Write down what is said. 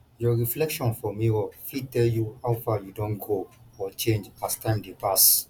your reflection for mirror fit tell you how far you don grow or change as time dey pass